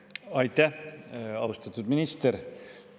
Aitäh, austatud minister!